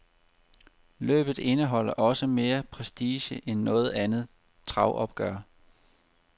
Løbet indeholder også mere prestige end noget andet travopgør.